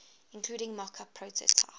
including mockup prototype